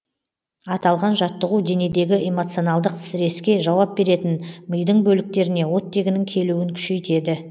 аталған жаттығу денедегі эмоционалдық стресске жауап беретін мидың бөліктеріне оттегінің келуін күшейтеді